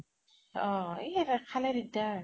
অহ এই খালে দিগ্দাৰ